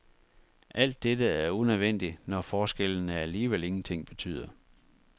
Alt dette er unødvendigt, når forskellene alligevel ingenting betyder.